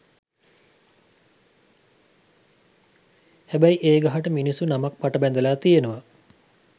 හැබැයි ඒ ගහට මිනිස්සු නමක් පට බැඳලා තියෙනවා.